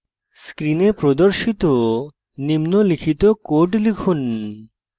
screen প্রদর্শিত নিম্নলিখিত code লিখুন;